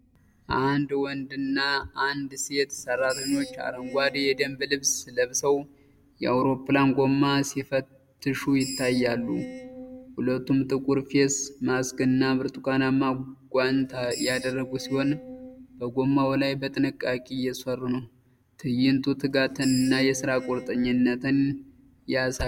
አንድ ወንድና አንዲት ሴት ሰራተኞች አረንጓዴ የደንብ ልብስ ለብሰው የአውሮፕላን ጎማ ሲፈትሹ ይታያሉ። ሁለቱም ጥቁር ፌስ ማስክ እና ብርቱካናማ ጓንት ያደረጉ ሲሆን፣ በጎማው ላይ በጥንቃቄ እየሰሩ ነው። ትዕይንቱ ትጋትን እና ለስራ ቁርጠኝነትን ያሳያል።